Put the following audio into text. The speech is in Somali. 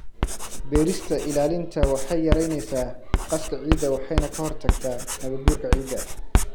Beerista ilaalinta waxay yaraynaysaa qaska ciidda waxayna ka hortagtaa nabaadguurka ciidda.